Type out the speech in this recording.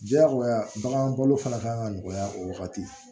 Diyagoya bagan balo fana kan ka nɔgɔya o wagati